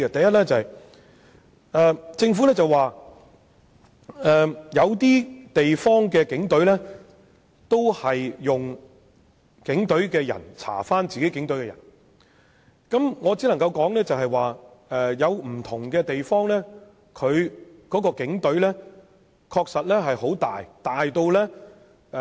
首先，政府表示有些地方的警隊亦是由警隊人員調查涉及警隊的投訴個案，我只能說有些地方的警隊規模確實龐大。